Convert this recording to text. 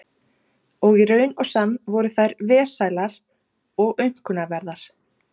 Og í raun og sann voru þær vesælar og aumkunarverðar.